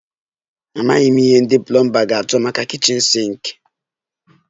Amaghị m ihe ndị plomba ga-achọ maka kichin sinki